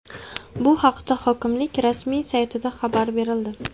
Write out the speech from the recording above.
Bu haqda hokimlik rasmiy saytida xabar berildi .